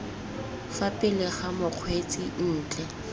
fa pele ga mokgweetsi ntle